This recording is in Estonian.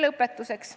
Lõpetuseks.